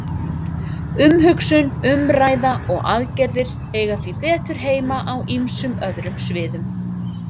Umhugsun, umræða og aðgerðir eiga því betur heima á ýmsum öðrum sviðum.